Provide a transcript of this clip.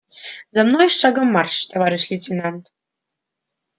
за мной шагом марш товарищ лейтенант